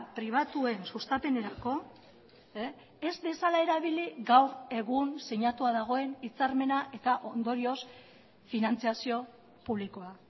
pribatuen sustapenerako ez dezala erabili gaur egun sinatua dagoen hitzarmena eta ondorioz finantzazio publikoa